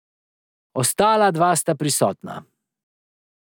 Ostala dva sta prisotna.